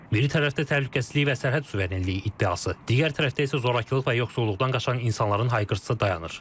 Bir tərəfdə təhlükəsizlik və sərhəd suverenliyi iddiası, digər tərəfdə isə zorakılıq və yoxsulluqdan qaçan insanların hayqırtısı dayanır.